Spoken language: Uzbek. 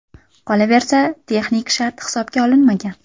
Qolaversa, texnik shart hisobga olinmagan.